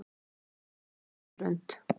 Teikning eftir Jörund.